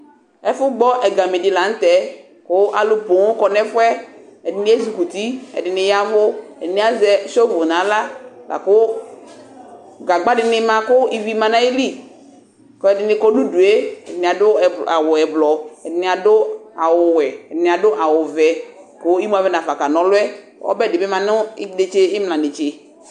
Ɛfʊ gbɔ ɛgame dɩ lanutɛ kʊ alʊ poo kɔnʊ ɛfʊ yɛ ɛdɩnɩ ezɩkuti ɛdɩnɩ yaɛvʊ ɛdɩnɩ azɛ shovʊ nʊ axla laku gagbadɩnɩ ma kʊ ivi manu ayɩlɩ kʊ ɛdɩnɩ kɔ nʊ ʊdʊe ɛdɩnɩ adʊ awʊ ɛblɔ ɛdɩnɩ adʊ awʊwɛ ɛdɩnɩ adʊ awʊvɛ kʊ ɩmʊ avɛnafa kana ɔlʊ yɛ ɛbɛdɩbɩ manʊ imla netse